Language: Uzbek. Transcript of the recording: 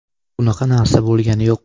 Bunaqa narsa bo‘lgani yo‘q.